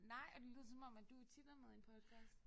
Nej og det lyder som om at du tit er med i en podcast